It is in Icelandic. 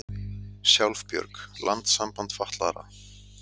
Sjálfbjörg, landssamband fatlaðra